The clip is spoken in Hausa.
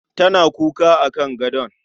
Tana kuka akan gadon